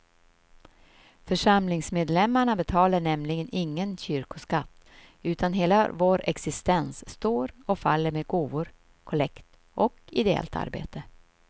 Församlingsmedlemmarna betalar nämligen ingen kyrkoskatt utan hela vår existens står och faller med gåvor, kollekt och ideellt arbete.